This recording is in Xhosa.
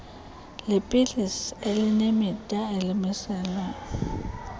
leepilisi elinemida elimiselwe